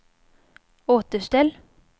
återställ